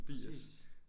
Præcis